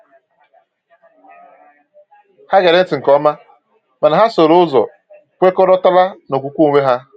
Ha gere ntị nke ọma, mana ha sooro ụzọ kwekọrọtara na okwukwe onwe ha.